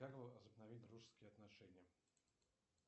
как возобновить дружеские отношения